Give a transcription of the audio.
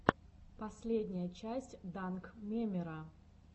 последняя часть данкмемера